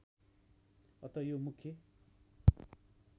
अत यो मुख्य